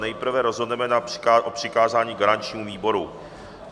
Nejprve rozhodneme o přikázání garančnímu výboru.